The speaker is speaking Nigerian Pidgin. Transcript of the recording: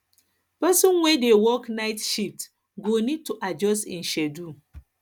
person wey dey work night shift go need to adjust im schedule